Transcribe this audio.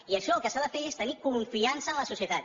i en això el que s’ha de fer és tenir confiança en la societat